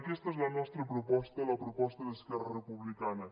aquesta és la nostra proposta la proposta d’esquerra republicana